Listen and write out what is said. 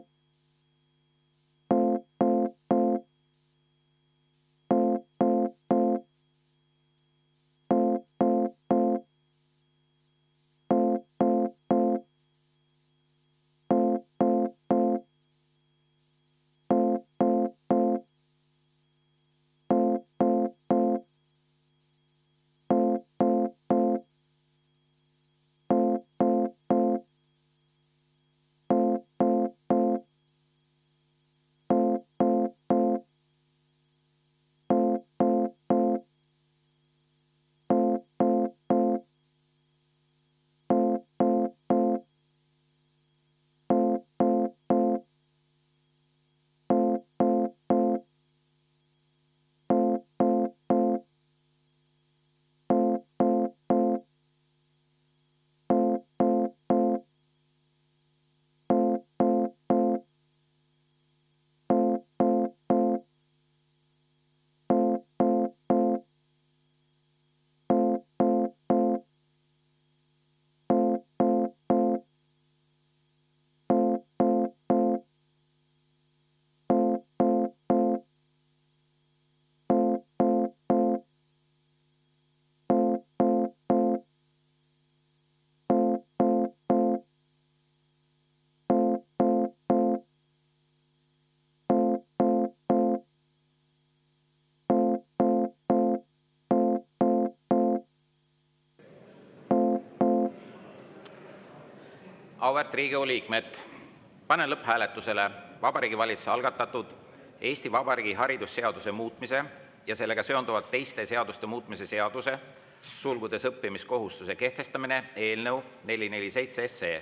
Auväärt Riigikogu liikmed, panen lõpphääletusele Vabariigi Valitsuse algatatud Eesti Vabariigi haridusseaduse muutmise ja sellega seonduvalt teiste seaduste muutmise seaduse eelnõu 447.